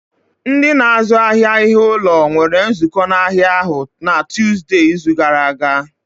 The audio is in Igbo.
Ndị na-azụ ahịa ihe ụlọ nwere nzukọ n'ahịa ahụ na Tuzdee, izu gara aga